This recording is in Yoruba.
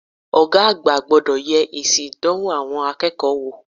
Ògá àgbà gbodò ye èsì ìdánwò àwon akéèkó wò